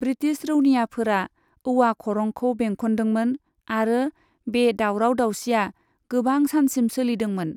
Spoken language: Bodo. ब्रिटिश रौनियाफोरा औवा खरंखौ बेंखनदोंमोन आरो बे दावराव दावसिआ गोबां सानसिम सोलिदोंमोन।